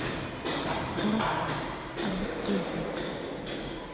голоса русский язык